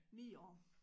9 år